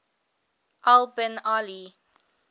al bin ali